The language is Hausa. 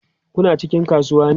Kuna cikin kasuwa ne?